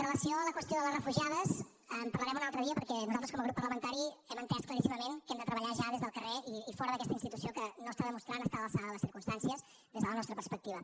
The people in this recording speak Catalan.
relació amb la qüestió de les refugiades en parlarem un altre dia perquè nosaltres com a grup parlamentari hem entès claríssimament que hem de treballar ja des del carrer i fora d’aquesta institució que no està demostrant estar a l’alçada de les circumstàncies des de la nostra perspectiva